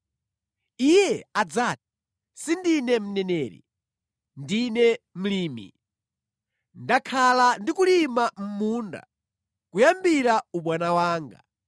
Iye adzati, ‘Sindine mneneri. Ndine mlimi; ndakhala ndi kulima munda kuyambira ubwana wanga.’